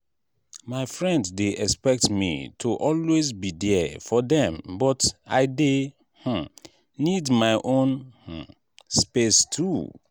my friend dey expect me to always be there for dem but i dey um need my own um space too.